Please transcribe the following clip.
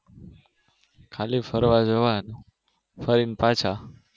ખાલી ફરવા જવાનું ફરીને પાછા